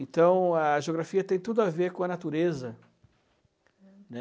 Então, a geografia tem tudo a ver com a natureza, né?